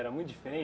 Era muito